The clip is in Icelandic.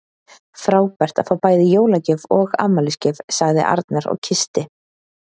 Frábært að fá bæði jólagjöf og afmælisgjöf sagði Arnar og kyssti